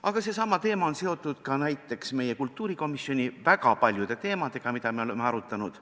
Aga seesama teema on seotud ka näiteks meie kultuurikomisjoni väga paljude teemadega, mida me oleme arutanud.